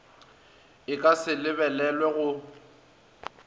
e ka se lebelelwe go